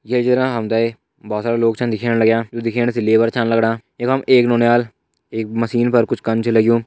ये चित्र मा हमते भोत सारा लोग छन दिखेंन लग्याँ यु देखन सै लेबर छन लगणा यखम एक नौनियाल एक मशीन पर कुछ कन छ लग्युं।